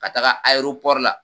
Ka taaga la.